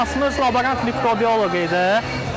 İxtisasımız laborant mikrobioloq idi.